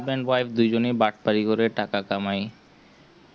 husband wife দুজনেই বাজপাড়ি করে টাকা কামাই